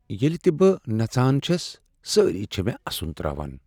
ییٚلہ تہ بہٕ نژان چھس سٲری چھ مےٚ اسن ترٛاوان۔